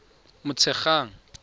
motshegang